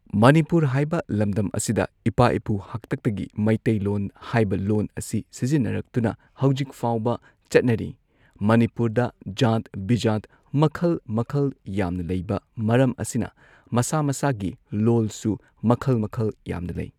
ꯃꯅꯤꯄꯨꯔ ꯍꯥꯏꯕ ꯂꯝꯗꯝ ꯑꯁꯤꯗ ꯏꯄꯥ ꯏꯄꯨ ꯍꯥꯛꯇꯛꯇꯒꯤ ꯃꯩꯇꯩ ꯂꯣꯟ ꯍꯥꯏꯕ ꯂꯣꯟ ꯑꯁꯤ ꯁꯤꯖꯤꯟꯅꯔꯛꯇꯨꯅ ꯍꯧꯖꯤꯛꯐꯥꯎꯕ ꯆꯠꯅꯔꯤ ꯃꯅꯤꯄꯨꯔꯗ ꯖꯥꯠ ꯕꯤꯖꯥꯠ ꯃꯈꯜ ꯃꯈꯜ ꯌꯥꯝꯅ ꯂꯩꯕ ꯃꯔꯝ ꯑꯁꯤꯅ ꯃꯁꯥ ꯃꯁꯥꯒꯤ ꯂꯣꯜꯁꯨ ꯃꯈꯜ ꯃꯈꯜ ꯌꯥꯝꯅ ꯂꯩ꯫